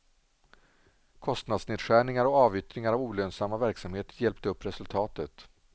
Kostnadsnedskärningar och avyttringar av olönsamma verksamheter hjälpte upp resultatet.